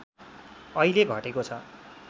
अहिले घटेको छ